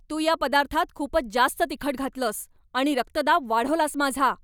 तू या पदार्थात खूपच जास्त तिखट घातलंस आणि रक्तदाब वाढवलास माझा.